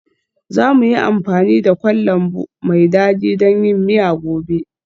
Za mu yi amfani da kwan lambu mai dadi don yin miya gobe.